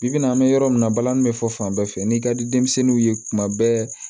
Bi bi in na an bɛ yɔrɔ min na balani be fɔ fan bɛɛ fɛ n'i ka di denmisɛnninw ye kuma bɛɛ